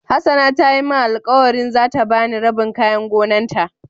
hassana ta Yi min alkawali za ta ba ni rabin kayan gonan ta.